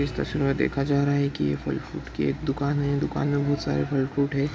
इस तस्वीर मे देखा जा रहा हैं की ये फल फ्रूट की एक दुकान हैं दुकान में बहुत सारे फल फ्रूट हैं।